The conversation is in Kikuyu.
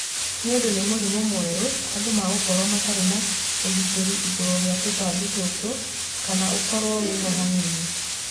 Niũndũ ni mũrimũ mwerũ, andũ megũkorwo matari na ũgitiri igũrũ ria tũtabi tũtũ kana ũkorwo wĩho hanini.